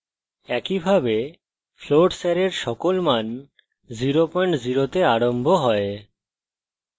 একইভাবে floats অ্যারের সকল মান 00 তে আরম্ভ have